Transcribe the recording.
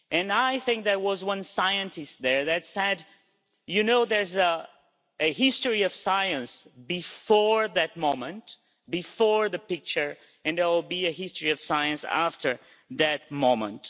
I think there was one scientist there that said, you know, there's a history of science before that moment, before the picture, and there will be a history of science after that moment'.